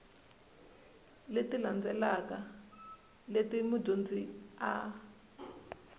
leti landzelaka leti mudyondzi a